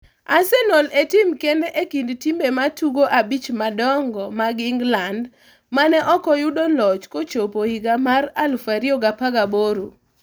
Arsenal e tim kend e kind timbe matugo abich madongo mag England mane oko yudo loch kochopo higa mar 2018.